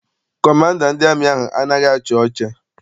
Kọmanda ndị amị ahụ anaghị achị ọcha.